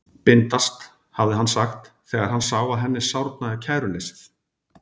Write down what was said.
Bindast, hafði hann sagt, þegar hann sá að henni sárnaði kæruleysið.